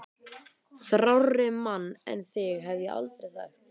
Þrárri mann en þig hef ég aldrei þekkt!